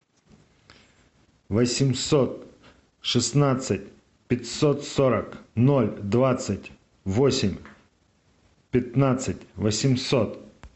восемьсот шестнадцать пятьсот сорок ноль двадцать восемь пятнадцать восемьсот